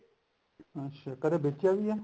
ਅੱਛਾ ਕਦੇ ਬੇਚਿਆ ਵੀ ਐ